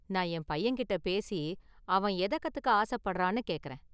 நான் என் பையன்கிட்ட​ பேசி, அவன் எத கத்துக்க ஆசப்படுறான்னு கேக்கறேன்.